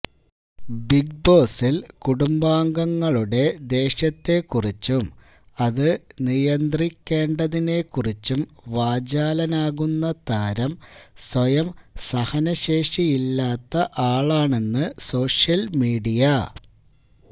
ബിഗ്ബോസില് കുടുംബാംഗങ്ങളുടെ ദേഷ്യത്തെക്കുറിച്ചും അത് നിയന്ത്രിക്കേണ്ടതിനെക്കുറിച്ചും വാചാലനാകുന്ന താരം സ്വയം സഹനശേഷിയില്ലാത്ത ആളാണെന്ന് സോഷ്യല്മീഡിയ